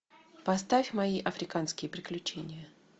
поставь мои африканские приключения